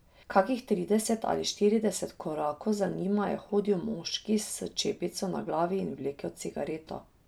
Kakih trideset ali štirideset korakov za njima je hodil moški s čepico na glavi in vlekel cigareto.